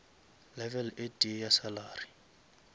level e tee ya salary